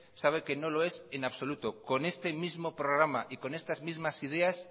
sabe que no lo es en absoluto con este mismo programa y con estas mismas ideas